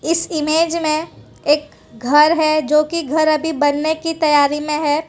इस इमेज में एक घर है जो कि घर अभी बनने की तैयारी में है।